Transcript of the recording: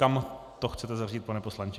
Kam to chcete zařadit, pane poslanče?